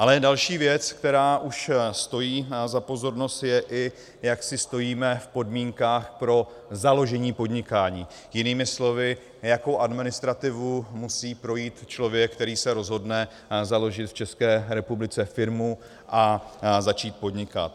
Ale další věc, která už stojí za pozornost, je, i jak si stojíme v podmínkách pro založení podnikání, jinými slovy, jakou administrativou musí projít člověk, který se rozhodne založit v České republice firmu a začít podnikat.